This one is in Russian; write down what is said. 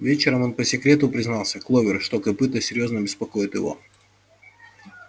вечером он по секрету признался кловер что копыто серьёзно беспокоит его